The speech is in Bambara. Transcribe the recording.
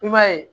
I b'a ye